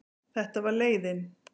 Þetta var leiðin.